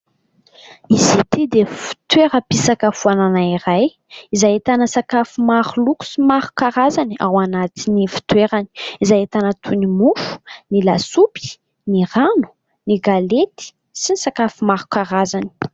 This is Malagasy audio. Izy ity dia fitoeram-pisakafoanana iray izay ahitana sakafo maro loko sy maro karazany ao anatin'ny fitoerany. Izay ahitana toy ny mofo, ny lasopy, ny rano, ny galety sy ny sakafo maro karazany.